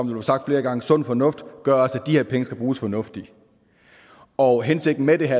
blev sagt flere gange sund fornuft gør også at de her penge skal bruges fornuftigt og hensigten med det her